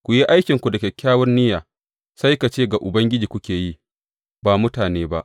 Ku yi aikinku da kyakkyawar niyya, sai ka ce ga Ubangiji kuke yi, ba mutane ba.